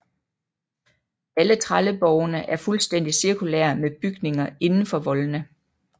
Alle trelleborgene er fuldstændigt cirkulære med bygninger inden for voldene